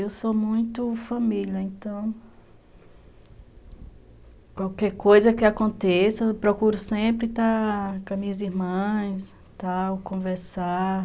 Eu sou muito família, então... Qualquer coisa que aconteça, eu procuro sempre estar com as minhas irmãs, tal, conversar.